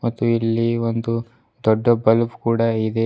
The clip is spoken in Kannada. ಮತ್ತು ಇಲ್ಲಿ ಒಂದು ದೊಡ್ಡ ಬಲ್ಬ್ ಕೂಡ ಇದೆ.